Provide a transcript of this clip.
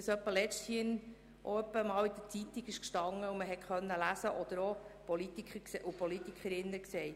Man konnte das in der Zeitung lesen und Politikerinnen und Politiker haben es auch gesagt.